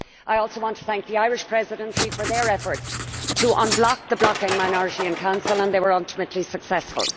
I also want to thank the Irish Presidency for their efforts to unblock the blocking minority in Council, and they were ultimately successful.